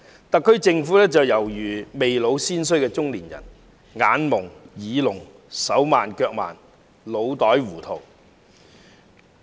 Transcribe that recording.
特區政府猶如"未老先衰"的中年人，眼矇、耳聾、手慢腳慢，腦袋糊塗。